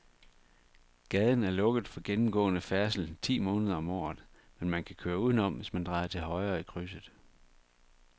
Gaden er lukket for gennemgående færdsel ti måneder om året, men man kan køre udenom, hvis man drejer til højre i krydset.